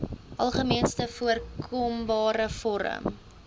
algemeenste voorkombare vorm